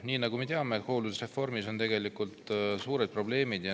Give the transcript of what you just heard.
Nagu me teame, hooldusreformiga on suured probleemid.